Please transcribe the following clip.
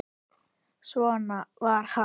Svona var hann.